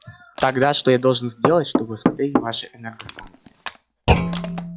тогда что я должен сделать чтобы осмотреть ваши энергостанции